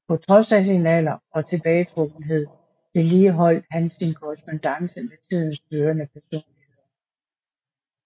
På trods af sin alder og tilbagetrukkenhed vedligeholdt han sin korrespondance med tidens førende personligheder